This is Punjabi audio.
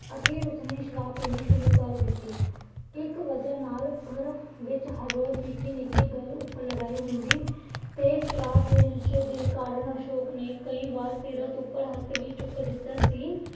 ਅਖੀਰ ਉਸਨੇ ਸ਼ਰਾਬ ਪੀਣੀ ਸ਼ੁਰੂ ਕਰ ਦਿੱਤੀ। ਇੱਕ ਵਜ੍ਹਾ ਨਾਲ ਘਰ ਵਿੱਚ ਹਰ ਰੋਜ਼ ਨਿੱਕੀ ਨਿੱਕੀ ਗੱਲ ਉਪ ਲੜਾਈ ਹੁੰਦੀ। ਤੇ ਸ਼ਰਾਬ ਦੇ ਨਸ਼ੇ ਦੇ ਕਾਰਨ ਅਸ਼ੋਕ ਨੇ ਕਈ ਵਾਰ ਸੀਰਤ ਉੱਪਰ ਹੱਥ ਵੀ ਚੁੱਕ ਦਿੱਤਾ ਸੀ।